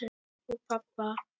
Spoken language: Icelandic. Og pabba.